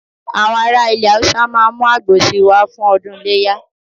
Àwọn ará ilẹ̀ Haúsá ma mú àgbò si wá fún ọdún iléyà